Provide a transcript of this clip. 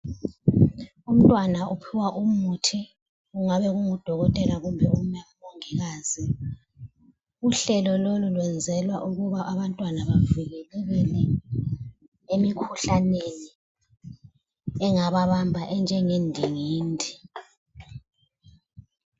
Umntwana uphiwa umuthi, kungabe kungudokotela kumbe umongikazi. Uhlelo lolu lwenzela ukuba abantwana bavikelekele emikhuhlaneni engababamba enjenge ndingindi.